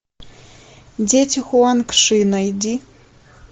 дети хуанг ши найди